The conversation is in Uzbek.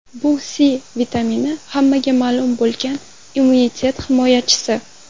Bu C vitamini hammaga ma’lum bo‘lgan immunitet himoyachisi.